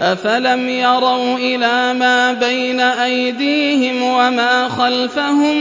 أَفَلَمْ يَرَوْا إِلَىٰ مَا بَيْنَ أَيْدِيهِمْ وَمَا خَلْفَهُم